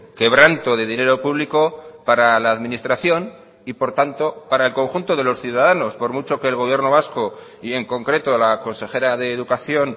quebranto de dinero público para la administración y por tanto para el conjunto de los ciudadanos por mucho que el gobierno vasco y en concreto la consejera de educación